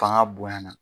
Fanga bonyana